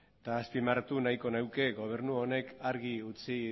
eta azpimarratu nahiko nuke gobernu honek argi utzi